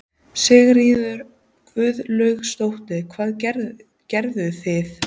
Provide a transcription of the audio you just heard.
Sigríður Guðlaugsdóttir: Hvað gerðuð þið?